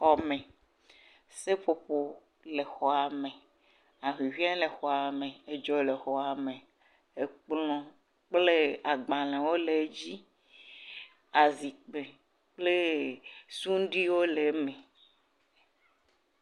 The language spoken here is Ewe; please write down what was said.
Xɔme. Seƒoƒo le xɔa me. Ahuhɔe le xɔa me. Edzo le xɔa me, ekplɔ kple agbalewo le edzi. Azikpui kple suɖui yi wo le eme.